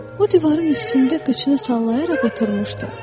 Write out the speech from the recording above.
O divarın üstündə qıçını sallayaraq oturmuşdu.